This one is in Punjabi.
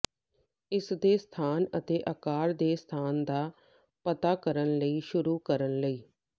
ਇਸ ਦੇ ਸਥਾਨ ਅਤੇ ਆਕਾਰ ਦੇ ਸਥਾਨ ਦਾ ਪਤਾ ਕਰਨ ਲਈ ਸ਼ੁਰੂ ਕਰਨ ਲਈ